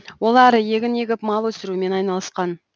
олар егін егіп мал өсірумен айналысқан